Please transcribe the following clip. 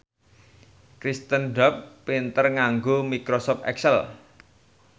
Kirsten Dunst pinter nganggo microsoft excel